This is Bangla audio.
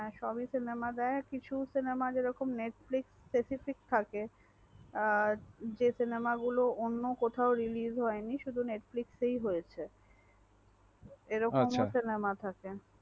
সবি cinema দেয় কিছু cinema যেরকম net flix এ থাকে আর যে cinema গুলো অন্য কোথাও released হয়নি শুধু netflix হয়েছে।